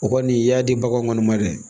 O kɔni i y'a di baganw kɔni ma dɛ